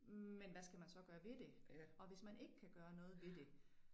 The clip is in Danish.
Men hvad skal man så gøre ved det og hvis man ikke kan gøre noget ved det